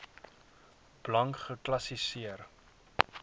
blank geklassi seer